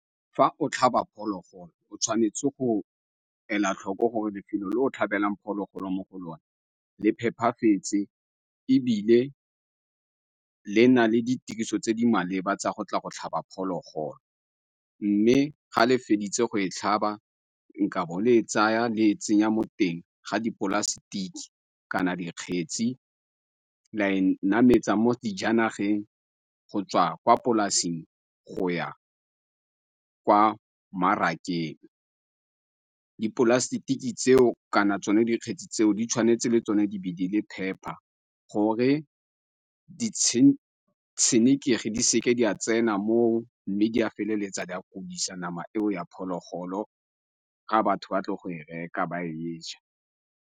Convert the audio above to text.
Fa o tlhaba phologolo o tshwanetse go ela tlhoko gore lefelo le o tlhabelang phologolo mo go lone le phepafetse ebile le na le ditiriso tse di maleba tsa go tla go tlhaba phologolo. Mme ga le feditse go e tlhaba nkabo le e tsaya le e tsenya mo teng ga dipolasetike kana dikgetsi, la e nametsa mo sejanageng go tswa kwa polasing go ya kwa mmarakeng. Dipolasetiki tseo kana tsone dikgetsi tseo di tshwanetse le tsone di be di le phepa gore ditshenekegi di seke di a tsena mo mme di a feleletsa di a bodisa nama eo ya phologolo ga batho ba tla go e reka ba e je.